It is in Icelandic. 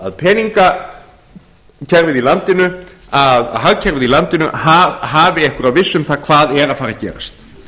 að peningakerfið í landinu að hagkerfið í landinu hafi einhverja vissu um það hvað er að fara að gerast